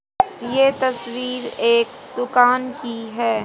ये तस्वीर एक दुकान की है।